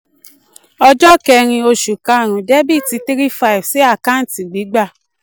ọjọ́ kẹ́rin oṣù karùn-ún dr three thousand five hundred sí àkáǹtì gbígbà